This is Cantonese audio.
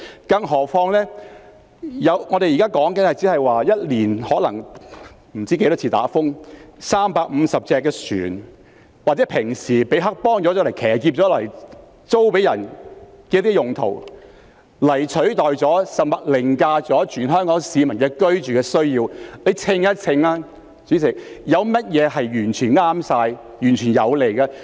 更何況避風塘現時的用途只是一年不知多少次颱風襲港時讓350艘船停泊或平時已被黑幫騎劫用來出租，但這已取代甚至凌駕了全香港市民的居住需要，大家可以秤一秤，有甚麼會是完全正確，完全有利的呢？